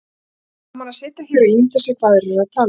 Gaman að sitja hér og ímynda sér hvað aðrir eru að tala um